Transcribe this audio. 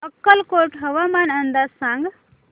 अक्कलकोट हवामान अंदाज सांग